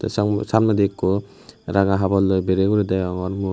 sam samnedi ikko ranga haborloi bereye guri degongor mui.